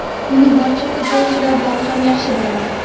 Uni barcha futbolchilardan ham yaxshi bilaman.